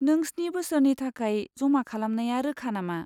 नों स्नि बोसोरनि थाखाय जमा खालामनाया रोखा नामा?